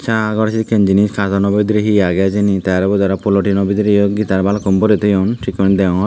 saa gar he kendi ne katono bidirey he aagey hijeni tey aro ubot polotino bidirey guitar balukko borey toyon sekkey guri deongor.